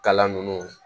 Kalan ninnu